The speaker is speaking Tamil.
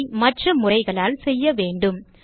அதை மற்ற முறைகளால் செய்ய வேண்டும்